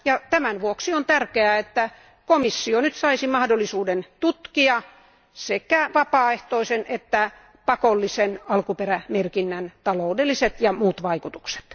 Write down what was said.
Tämän vuoksi on tärkeää, että komissio nyt saisi mahdollisuuden tutkia sekä vapaaehtoisen että pakollisen alkuperämerkinnän taloudelliset ja muut vaikutukset.